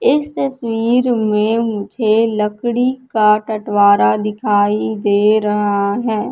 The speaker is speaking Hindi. इस तस्वीर में मुझे लकडी का टृवारा दिखाई दे रहा है।